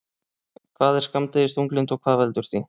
Hvað er skammdegisþunglyndi og hvað veldur því?